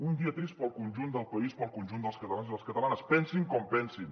un dia trist per al conjunt del país per al conjunt dels catalans i de les catalanes pensin com pensin